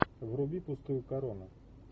вруби пустую корону